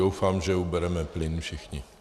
Doufám, že ubereme plyn všichni.